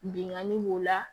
Bingani b'o la